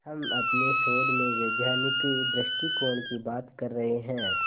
हम अपने शोध में वैज्ञानिक दृष्टिकोण की बात कर रहे हैं